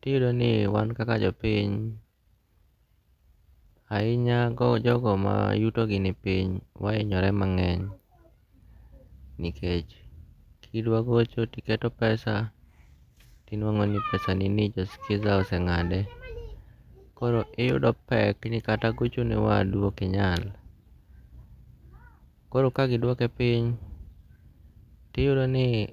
tiyudoni wan kaka jo piny ahinya hinya jogo ma yutogi ni piny wahinyore mangeng', nikech kidwagocho tiketo pesa tiwango'ni pesanini jo skiza ose nga'de, koro uyudo pek mara kata gocho ne wadu okinyal koro kagidwoke piny tiyudo ni.